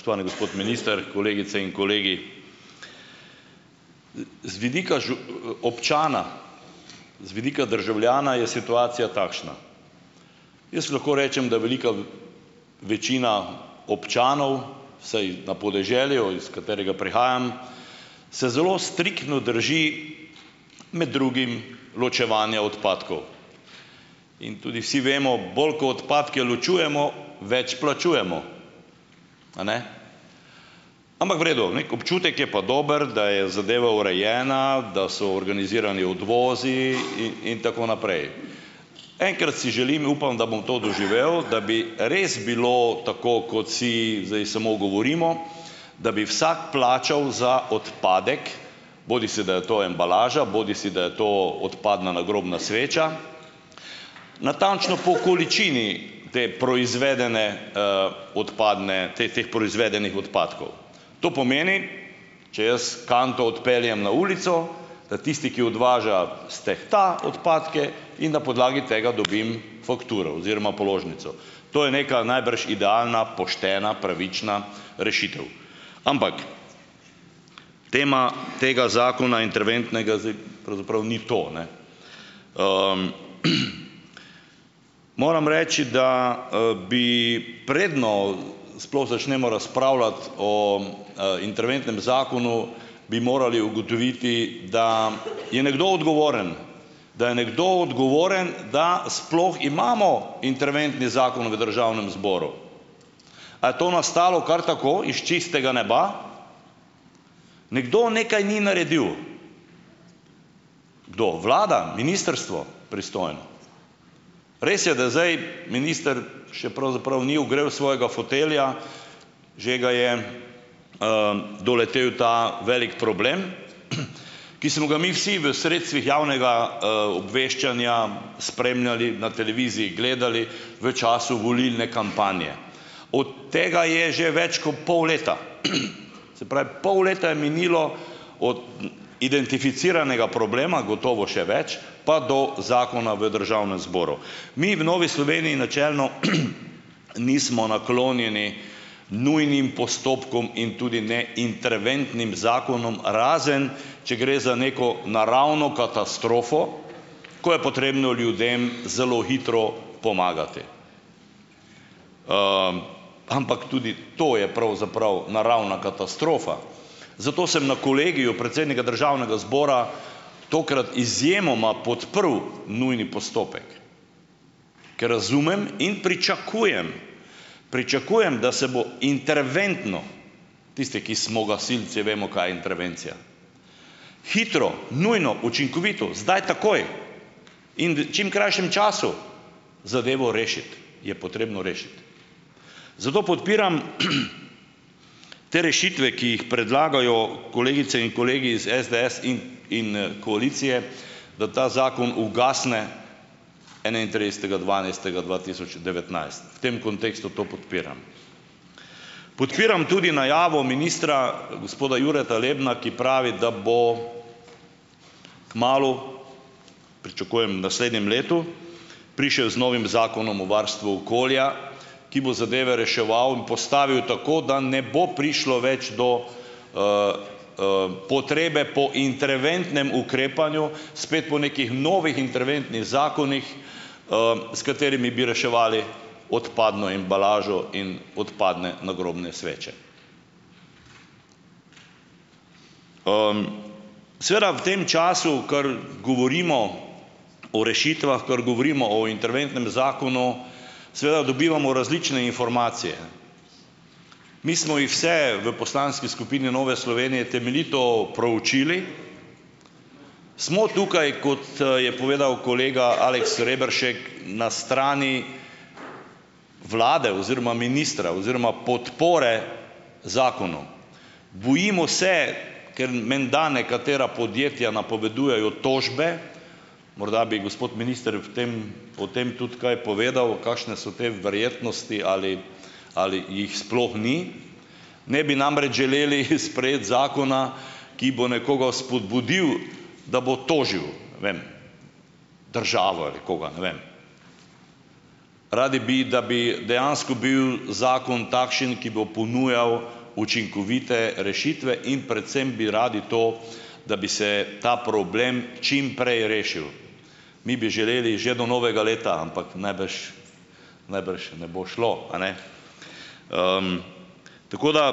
Gospod minister , kolegice in kolegi! Z vidika občana, z vidika državljana je situacija takšna. Jaz lahko rečem, da velika večina občanov, vsaj na podeželju, iz katerega prihajam, se zelo striktno drži med drugim ločevanja odpadkov. In tudi vsi vemo, bolj ko odpadke ločujemo, več plačujemo. A ne. Ampak v redu, neki občutek je pa dober, da je zadeva urejena, da so organizirani odvozi in tako naprej. Enkrat si želim in upam, da bom to doživel, da bi res bilo tako, kot si zdaj samo govorimo, da bi vsak plačal za odpadek, bodisi da je to embalaža bodisi da je to odpadna nagrobna sveča , natančno po količini te proizvedene, odpadne, teh teh proizvedenih odpadkov. To pomeni, če jaz kanto odpeljem na ulico, da tisti, ki odvaža, stehta odpadke in na podlagi tega dobim fakturo oziroma položnico. To je neka najbrž, idealna, poštena, pravična rešitev. Ampak tema tega zakona interventnega zdaj pravzaprav ni to, ne. Moram reči, da, bi, preden sploh začnemo razpravljati o, interventnem zakonu, bi morali ugotoviti, da je nekdo odgovoren , da je nekdo odgovoren, da sploh imamo interventni zakon v državnem zboru. A je to nastalo kar tako, iz čistega neba? Nekdo nekaj ni naredil. Kdo? Vlada, ministrstvo pristojno? Res je, da zdaj minister še pravzaprav ni ogrel svojega fotelja, že ga je, doletel ta veliki problem, ki smo ga mi vsi v sredstvih javnega, obveščanja spremljali na televiziji, gledali v času volilne kampanje . Od tega je že več kot pol leta. Se pol leta je minilo od identificiranega problema, gotovo še več, pa do zakona v državnem zboru. Mi v Novi Sloveniji načelno nismo naklonjeni nujnim postopkom in tudi ne interventnim zakonom, razen če gre za neko naravno katastrofo, ko je potrebno ljudem zelo hitro pomagati, ampak tudi to je pravzaprav naravna katastrofa. Zato sem na kolegiju predsednika državnega zbora tokrat izjemoma podprl nujni postopek, ker razumem in pričakujem, pričakujem, da se bo interventno, tisti, ki smo gasilci, vemo, kaj je intervencija, hitro, nujno, učinkovito, zdaj takoj, in v čim krajšem času zadevo rešiti, je potrebno rešiti. Zato podpiram te rešitve, ki jih predlagajo kolegice in kolegi iz SDS in in, koalicije, da ta zakon ugasne enaintridesetega dvanajstega dva tisoč devetnajst. V tem kontekstu to podpiram. Podpiram tudi najavo ministra , gospoda Jureta Lebna, ki pravi, da bo kmalu, pričakujem v naslednjem letu, prišel z novim zakonom o varstvu okolja, ki bo zadeve reševal in postavil tako, da ne bo prišlo več do, potrebe po interventnem ukrepanju, spet po nekih novih interventnih zakonih, s katerimi bi reševali odpadno embalažo in odpadne nagrobne sveče. Seveda v tem času, ker govorimo o rešitvah, ker govorimo o interventnem zakonu, seveda dobivamo različne informacije. Mi smo jih vse v poslanski skupini Nove Slovenije temeljito proučili. Smo tukaj, kot, je povedal kolega Aleks Rebršek , na strani vlade oziroma ministra oziroma podpore zakonu. Bojimo se, ker menda nekatera podjetja napovedujejo tožbe, morda bi gospod minister v tem, o tem tudi kaj povedal, kakšne so te verjetnosti ali, ali jih sploh ni, ne bi namreč želeli sprejeti zakona, ki bo nekoga spodbudil, da bo tožil, ne vem, državo ali kaj, ne vem. Radi bi, da bi dejansko bil zakon takšen, ki bo ponujal učinkovite rešitve, in predvsem bi radi to, da bi se ta problem čim prej rešilo. Mi bi želeli že do novega leta, ampak najbrž, najbrž ne bo šlo, a ne. Tako da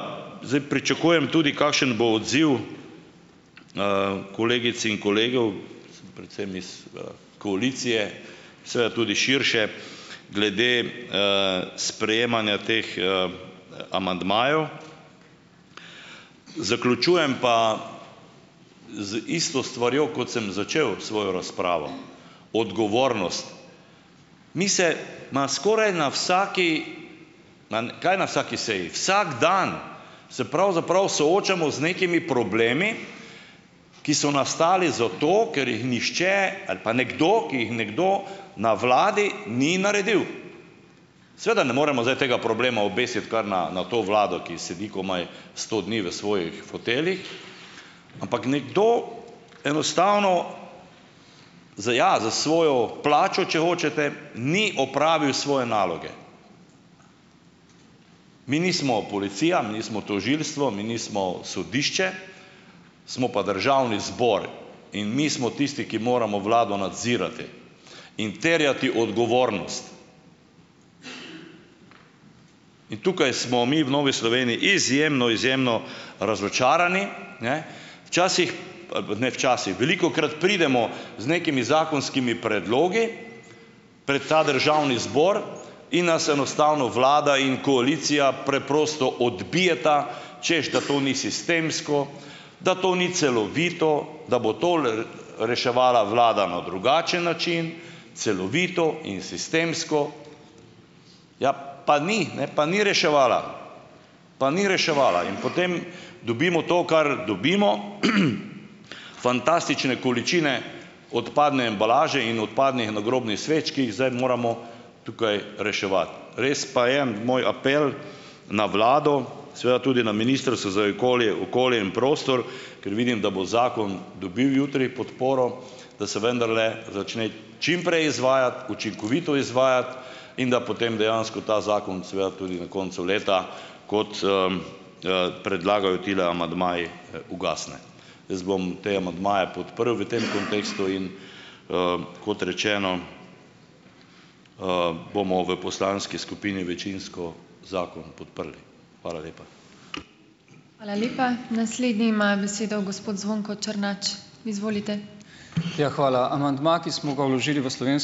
zdaj pričakujem tudi, kakšen bo odziv, kolegic in kolegov, predvsem iz, koalicije, seveda tudi širše, glede, sprejemanja teh, amandmajev. Zaključujem pa z isto stvarjo, kot sem začel svojo razpravo . Odgovornost, mi se, ma, skoraj na vsaki, na kaj na vsaki seji, vsak dan se pravzaprav soočamo z nekimi problemi, ki so nastali zato, ker jih nihče ali pa nekdo, ki jih nekdo na vladi ni naredil. Seveda ne moremo zdaj tega problema obesiti kar na na to vlado, ki sedi komaj sto dni v svojih foteljih, ampak nekdo enostavno, z, ja, s svojo plačo, če hočete, ni opravil svoje naloge. Mi nismo policija, mi nismo tožilstvo, mi nismo sodišče, smo pa državni zbor in mi smo tisti, ki moramo vlado nadzirati in terjati odgovornost. In tukaj smo mi v Novi Sloveniji izjemno, izjemno razočarani, ne. Včasih a pa ne včasih, velikokrat pridemo z nekimi zakonskimi predlogi pred ta državni zbor in nas enostavno vlada in koalicija preprosto odbijeta, češ da to ni sistemsko , da to ni celovito, da bo reševala vlada na drugače način, celovito in sistemsko. Ja, pa ni ne, pa ni reševala, pa ni reševala. In potem dobimo to, kar dobimo, fantastične količine odpadne embalaže in odpadnih nagrobnih sveč, ki jih zdaj moramo tukaj reševati. Res pa je moj apel na vlado, seveda tudi na ministrstvo za okolje okolje in prostor, ker vidim, da bo zakon dobil jutri podporo, da se vendarle začne čim prej izvajati, učinkovito izvajati in da potem dejansko ta zakon seveda tudi na koncu leta, kot, predlagajo tile amandmaji, ugasne. Jaz bom te amandmaje podprl v tem kontekstu. In, kot rečeno, bomo v poslanski skupini večinsko zakon podprli. Hvala lepa.